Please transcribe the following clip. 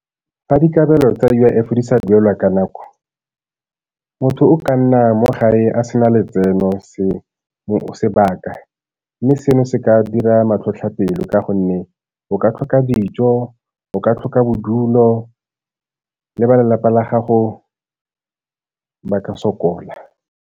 Fa dikabelo tsa U_I_F di sa duelwa ka nako, motho o ka nna mo gae a se na letseno sebaka, mme seno se ka dira matlhotlhapelo ka gonne o ka tlhoka dijo, o ka tlhoka bodulo, le ba lelapa la gago ba ka sokola.